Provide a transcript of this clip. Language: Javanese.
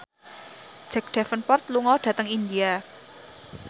Jack Davenport lunga dhateng India